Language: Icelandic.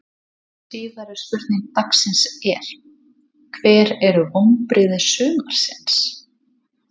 Síðari spurning dagsins er: Hver eru vonbrigði sumarsins?